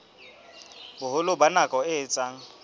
boholo ba nako e etsang